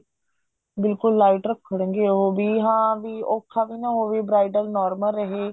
ਬਿਲਕੁਲ light ਰੱਖਣਗੇ ਉਹ ਵੀ ਹਾਂ ਵੀ ਔਖਾ ਵੀ ਨਾ ਹੋਵੇ bridal normal ਰਹੇ